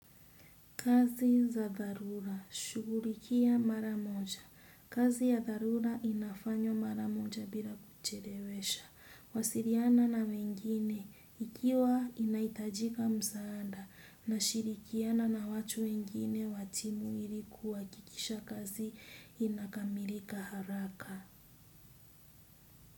Kazi za dharura, shughulikia mara moja. Kazi ya dharura inafanywa mara moja bila kuchelewesha. Wasiliana na wengine, ikiwa inaitajika mzaada, na shirikiana na watu wengine wachini ilikuhakikisha kazi inakamilika haraka.